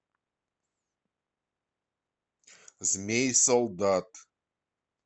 змей солдат